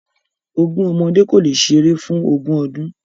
Ogún ọmọdé kò le ṣeré fún ogún ọdún.